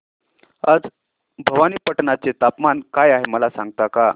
आज भवानीपटना चे तापमान काय आहे मला सांगता का